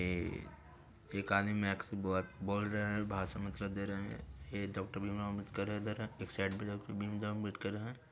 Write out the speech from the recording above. ए एक आदमी माइक से बहुत बोल रहे है भासन मतलब दे रहे हैं | ये डॉक्टर भीमराओ अम्बेडकर इधर है एक साइड भीमराओ अम्बेडकर है।